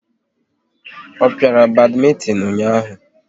Ọ piara badmintin ụnyaahụ?